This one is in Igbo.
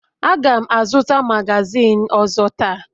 Aga m azụta magazin ọzọ taa